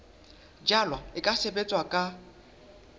jalwa e ka sebetswa ka